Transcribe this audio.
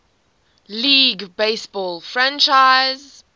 league baseball franchise